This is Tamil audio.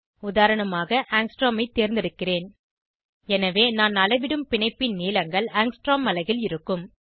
உதாரணமாக ஆங்ஸ்ட்ரோம் ஐ தேர்ந்தெடுக்கிறேன் எனவே நான் அளவிடும் பிணைப்பின் நீளங்கள் ஆங்ஸ்ட்ரோம் அலகில் இருக்கும்